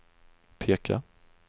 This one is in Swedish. peka